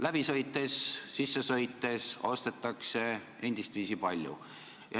Läbi sõites või sisse sõites ostetakse endist viisi palju.